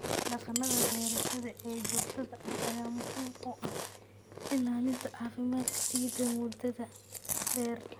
Dhaqannada beerashada ee joogtada ah ayaa muhiim u ah ilaalinta caafimaadka ciidda muddada dheer.